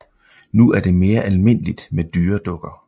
Nu er det mere almindeligt med dyredukker